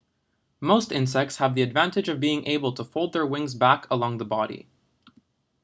most insects have the advantage of being able to fold their wings back along the body